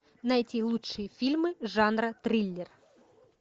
найти лучшие фильмы жанра триллер